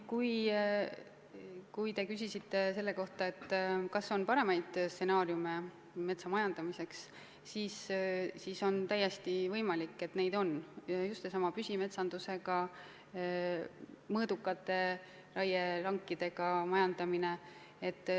Kui te küsisite selle kohta, kas on paremaid stsenaariume metsa majandamiseks, siis on täiesti võimalik, et neid on: just seesama püsimetsandusega, mõõdukate raielankidega majandamine.